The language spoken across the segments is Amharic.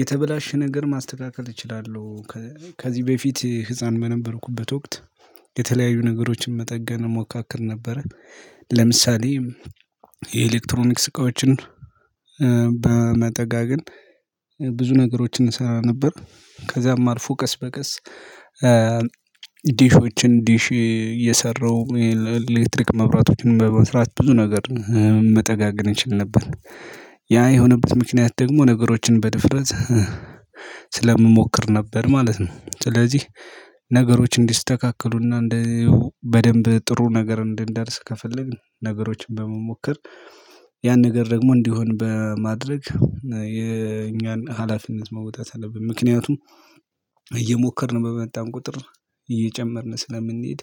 የተበላሸ ነገር ማስተካከል እችላለሁ። ከዚህ በፊት ህፃን በነበርኩበት ወቅት የተለያዩ ነገሮችን መጠገን ሞካክር ነበረ ለምሳሌ የኤሌክትሮኒክ ዕቃዮችን በመጠጋገን ብዙ ነገሮችን እንሰራ ነበር ከዛም አልፎ ቀስ በቀስ ዲሾችን ዲሽ እየሰራው ይሄ ለኤሌክትሪክ መብራቶችን በመስራት ብዙ ነገር መጠጋገን እንችል ነበር። ያ የሆነበት ምክንያት ደግሞ ነገሮችን በድፍረት ስለምሞክር ነበር ማለት ነው። ስለዚህ ነገሮች እንዲስተካከሉና እንደው በደንብ ጥሩ ነገር እንዳልስ ከፈለግን ነገሮችን በመሞከር ያን ነገር ደግሞ እንዲሆን በማድረግ የእኛን ሀላፊነት መውጣት አለብን። ምክንያቱም እየሞከርን በመጣን ቁጥር እየጨመርን ስለምንሄድ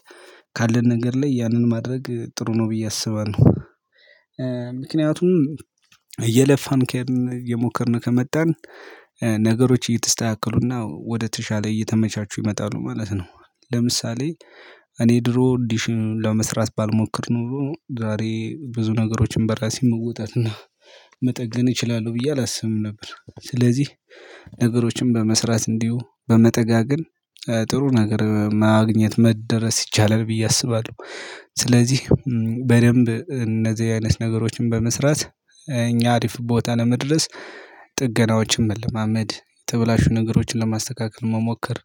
ካለን ነገር ላይ ያንን ማድረግ ጥሩ ነው ብዬ አስባለሁ። ምክንያቱም እየለፋን እየሞከርን ከመጣን ነገሮች እየተስተካከሉና ወደተሻለ እየተመቻቹ ይመጣሉ ማለት ነው። ለምሳሌ እኔ ድሮ ዲሽን ለመስራት ባልሞክር ኖሮ ዛሬ ብዙ ነገሮችን በራሴ መውጣት እና መጠገን እችላለሁ ብዬ አላስብም ነበር። ስለዚህ ነገሮችን በመስራት እንዲሁ በመጠጋገን ጥሩ ነገር ማግኘት መደረስ ይቻላል ብዬ አስባለሁ። ስለዚህ በደንብ እነዚህ አይነት ነገሮችን በመስራት እኛ አሪፍ ቦታ ለመድረስ ጥገናዎችም መለማማድ የተብላሹ ነገሮችን ለማስተካከል መሞከር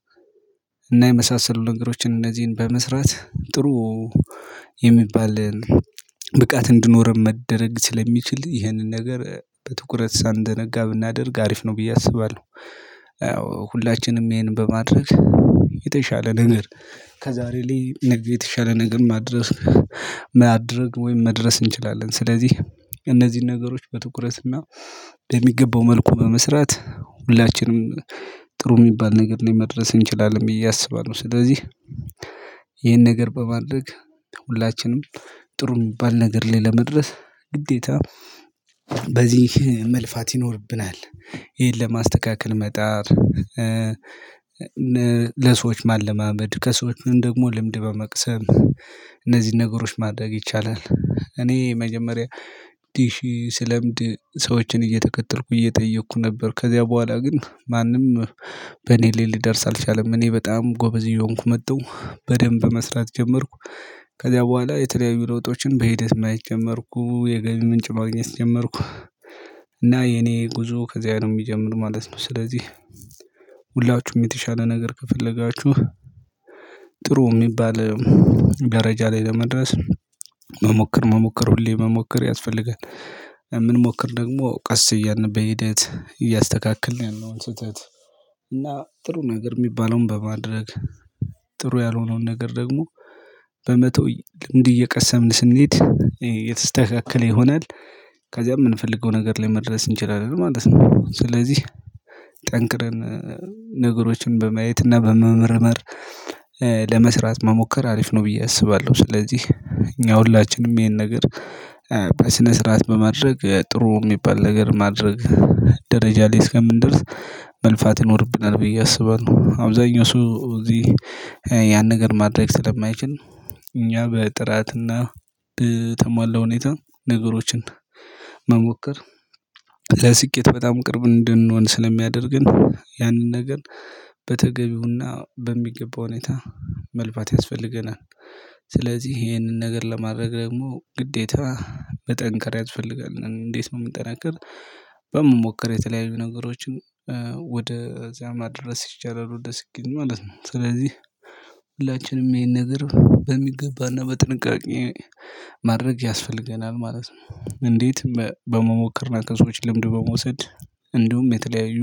እና የመሳሰሉ ነገሮችን እነዚህን በመስራት ጥሩ የሚባል ብቃት እንዲኖረን መደረግ ስለሚችል ይህንን ነገር በትኩረት ሳንዘነጋ ብናደርግ አሪፍ ነው ብዬ አስባለሁ። ያው ሁላችንም ይሄንን በማድረግ የተሻለ ነገር ከዛሬ ላይ ነገ የተሻለ ነገር ማድረግ ወይም መድረስ እንችላለን። ስለዚህ እነዚህን ነገሮች በትኩረትና በሚገባው መልኩ በመስራት ሁላችንም ጥሩ የሚባል ነገር ላይ መድረስ እንችላለን ብዬ አስባለሁ። ስለዚህ ይሄን ነገር በማድረግ ሁላችንም ጥሩ የሚባል ነገር ላይ ለመድረስ ግዴታ በዚህ መልፋት ይኖርብናል። ይሄን ለማስተካከል መጣር፤ ለሰዎች ማለማመድ፤ ከሰዎች ደግሞ ልምድ በመቅሰም እነዚህን ነገሮች ማድረግ ይቻላል እኔ መጀመሪያ ዲሺ ስለምድ ሰዎችን እየተቀጠርኩ እየጠየኩ ነበር ከዚያ በኋላ ግን ማንም በእኔ ላይ ሊደርስ አልቻለም፤ እኔ በጣም ጎበዝ እየሆንኩ መጣሁ በደንብ መስራት ጀመርኩ ከዚያ በኋላ የተለያዩ ለውጦችን በሂደት ማየት ጀመርኩ፤ የገቢ ምንጭ ማግኘት ጀመርኩ፤ እና የኔ ጉዞ ከዚያ ነው የሚጀምር ማለት ነው። ስለዚህ ሁላችሁም የተሻለ ነገር ከፈለጋችሁ ጥሩ የሚባል ገረጃ ላይ ለመድረስ መሞከር መሞከር ሁሌ መሞከር ያስፈልጋል። የምንሞክር ደግሞ ቀስ እያልን በሂደት እያስተካክልን ያለውን ስህተት እና ጥሩ ነገር የሚባለውን በማድረግ ጥሩ ያልሆነውን ነገር ደግሞ በመተው ልምድ እየቀሰምን ስንሄድ የተስተካከለ ይሆናል ከዚያም የምንፈልገው ነገር ላይ መድረስ እንችላለን ማለት ነው ስለዚህ ጠንክረን ነገሮችን በማየት እና በመመርመር ለመስራት መሞከር አሪፍ ነው ብዬ አስባለሁ። ስለዚህ እኛ ሁላችንም ይሄን ነገር በስነ ስርዓት በማድረግ ጥሩ የሚባል ነገር ማድረግ ደረጃ ላይ እስከምንደርስ መልፋት ይኖርብናል ብዬ አስባለሁ አብዛኛው ሰው እዚህ ያን ነገር ማድረግ ስለማይችል እኛ በጥራትና በተሟላ ሁኔታ ነገሮችን መሞከር ለስኬት በጣም ቅርብ እንድንሆን ስለሚያደርግን ያንን ነገር በተገቢውና በሚገባው ሁኔታ መልባት ያስፈልገናል። ስለዚህ ይሄንን ነገር ለማድረግ ደግሞ ግዴታ መጠንከር ያስፈልጋል። እንዴት ነው የምንጠናከር በመሞክር የተለያዩ ነገሮችን ወደ እዚያ መድረስ ይቻላል ወደ ስኬት ማለት ነው ስለዚህ ሁላችንም ይሄን ነገር በሚገባና በጥንቃቄ ማድረግ ያስፈልገናል ማለት ነው። እንዴት በመሞከር ነው ከሰዎች ልምድ በመውሰድ እንዲሁም የተለያዩ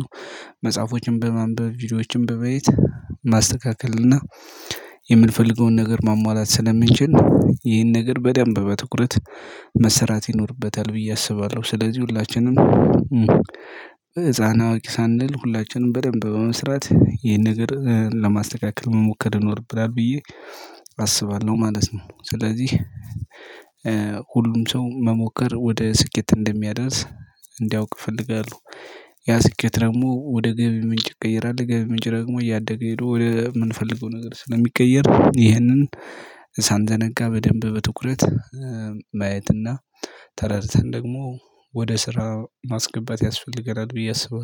መጽሐፎችን በማንበብ ቪዲዮዎችን በቤት ማስተካከል እና የምንፈልገውን ነገር ማሟላት ስለምንችል፤ ነው ይህን ነገር በደንብ በትኩረት መሰራት ይኖርበታል ብዬ አስባለሁ ስለዚህ ሁላችንም ህፃን አዋቂ ሳንል ሁላችንም በደንብ በመስራት ይሄን ነገር ለማስተካከል መሞከር ይኖርብናል ብዬ አስባለሁ ማለት ነው። ስለዚህ ሁሉም ሰው መሞከር ወደ ስኬት እንደሚያደርስ እንዲያውቅ እፈልጋለሁ። ያ ስኬት ደግሞ ወደ ገቢ ምንጭ ይቀየራል የገቢ ምንጭ ደግሞ እያደገ ሄዶ ወደ ወደምንፈልገው ነገር ስለሚቀየር ይህንን ሳንዘነጋ በደንብ በትኩረት ማየት፤ ተረድተን ደግሞ ወደ ስራ ማስገባት ያስፈልገናል ብዬ አስባለሁ